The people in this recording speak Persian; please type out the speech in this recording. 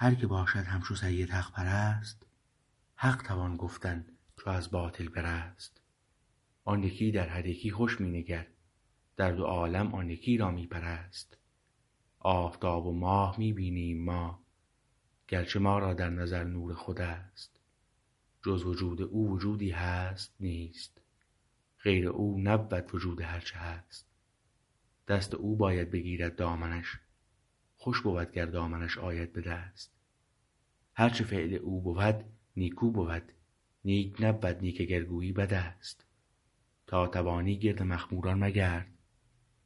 هر که باشد همچو سید حق پرست حق توان گفتن چو از باطل برست آن یکی در هر یکی خوش می نگر در دو عالم آن یکی را می پرست آفتاب و ماه می بینیم ما گرچه ما را در نظر نور خوراست جز وجود او وجودی هست نیست غیر او نبود وجود هرچه هست دست او باید بگیرد دامنش خوش بود گر دامنش آید به دست هرچه فعل او بود نیکو بود نیک نبود نیک اگر گویی بد است تا توانی گرد مخموران مگرد